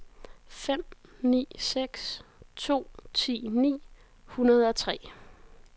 fem ni seks to ti ni hundrede og tre